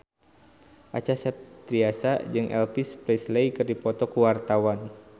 Acha Septriasa jeung Elvis Presley keur dipoto ku wartawan